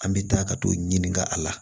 An bɛ taa ka t'o ɲininka a la